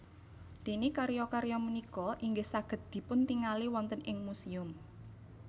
Déné karya karya punika inggih saged dipuntingali wonten ing musèum